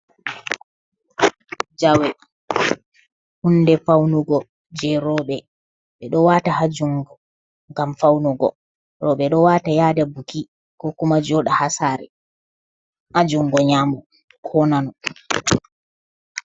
Jawe hunde faunugo je roɓɓe, ɓe ɗo wata ha jungo ngam faunugo roɓɓe ɗo wata yada buki, ko kuma joɗa ha sare hajungo nyamo ko nano.